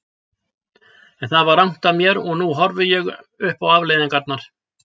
En það var rangt af mér og nú horfi ég upp á afleiðingarnar.